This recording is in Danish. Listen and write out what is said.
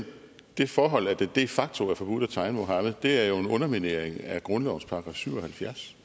det forhold at det de facto er forbudt at tegne muhammed er jo en underminering af grundlovens § syv og halvfjerds